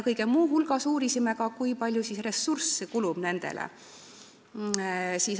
Kõige muu hulgas uurisime ka, kui palju ressursse sellele kulub.